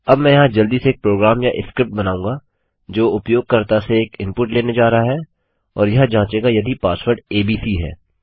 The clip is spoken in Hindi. अब मैं यहाँ जल्दी से एक प्रोग्राम या स्क्रिप्ट बनाऊँगा जो उपयोगकर्ता से एक इनपुट लेने जा रहा है और यह जाँचेगा यदि पासवर्ड एबीसी है